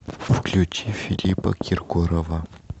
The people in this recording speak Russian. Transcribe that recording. включи филиппа киркорова